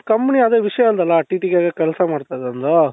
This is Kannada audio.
company ಅದೇ ವಿಷ್ಯ ಅಂದ್ನಲ್ಲ TTKಗೆ ಕೆಲಸ ಮಾಡ್ತಾ ಇದ್ದಾರೆ ಅಲ್ಲಾ ?